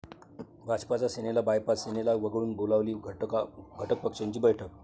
भाजपचा सेनेला बायपास, सेनेला वगळून बोलावली घटकपक्षांची बैठक